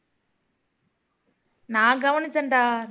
நான் கவனிச்சேன்டா